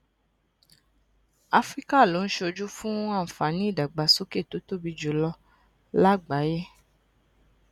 áfíríkà ló ń ṣojú fún àǹfààní ìdàgbàsókè tó tóbi jù lọ lágbàáyé